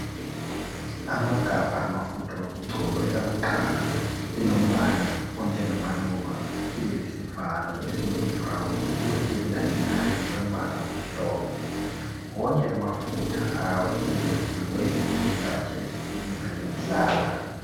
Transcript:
Amagabha amafutha okugcoba elakuqala lilombala onjengamaluba libe lesivalo esiyi brown kuthi elilandelayo lilombala omhlophe wonke la amafutha ayenziwe ngesihlahla esisibiza nge nhlaba.